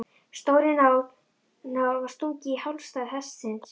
Stórri nál var stungið í hálsæð hestsins.